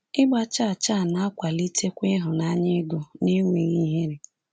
Ịgba chaa chaa na-akwalitekwa ịhụnanya ego n’enweghị ihere.